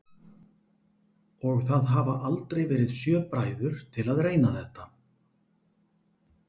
Og það hafa aldrei verið sjö bræður til að reyna þetta?